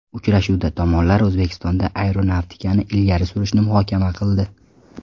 Uchrashuvda tomonlar O‘zbekistonda aeronavtikani ilgari surishni muhokama qildi.